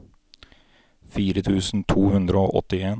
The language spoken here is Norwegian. fire tusen to hundre og åttien